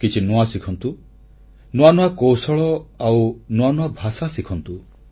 କିଛି ନୂଆ ଶିଖନ୍ତୁ ନୂଆ ନୂଆ କୌଶଳ ଆଉ ନୂଆ ନୂଆ ଭାଷା ଶିଖନ୍ତୁ